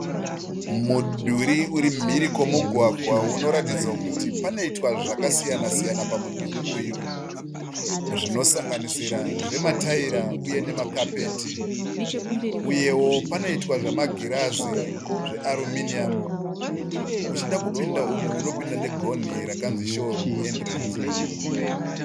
Mudhuri uri mhiri kwemugwagwa unoratidza kuti panoitwa zvakasiyana siyana pamudhuri uyu. Zvinosanganisira zvemataira uye nemakapeti. Uye panoita zvema girazi eAluminium, Uchida kupinda umu unopinda negonhi rakanzi show room entrance.